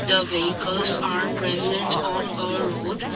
the vehicles are present on a road.